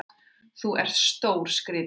Þú ert stórskrítinn!